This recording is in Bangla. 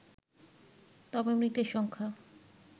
তবে মৃতের সংখ্যা